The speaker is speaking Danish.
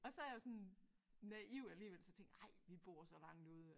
Og så jeg jo sådan naiv alligevel så tænker ej vi bor så langt ude